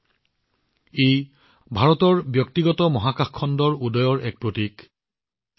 এইটোৱে ভাৰতৰ ব্যক্তিগত মহাকাশ খণ্ডৰ বাবে এক নতুন যুগৰ আৰম্ভণি চিহ্নিত কৰে